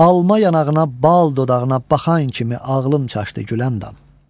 Alma yanağına, bal dodağına baxan kimi ağlım çaşdı Güləndam.